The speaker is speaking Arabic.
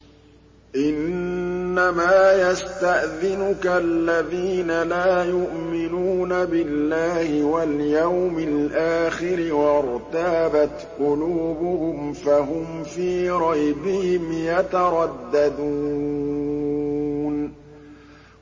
إِنَّمَا يَسْتَأْذِنُكَ الَّذِينَ لَا يُؤْمِنُونَ بِاللَّهِ وَالْيَوْمِ الْآخِرِ وَارْتَابَتْ قُلُوبُهُمْ فَهُمْ فِي رَيْبِهِمْ يَتَرَدَّدُونَ